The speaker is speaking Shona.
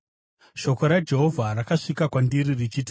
Shoko raJehovha rakasvika kwandiri richiti,